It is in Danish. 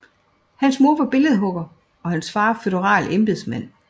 Hans mor var billedhugger og hans far føderal embedsmand